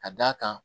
Ka d'a kan